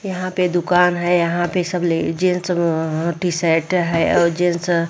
यहाँ पे दूकान है यहाँ पे सब जेंट्स अ टी-शर्ट हैं और जेंट्स --